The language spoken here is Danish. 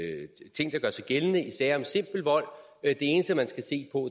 ting der gør sig gældende i sager om simpel vold det eneste man skal se på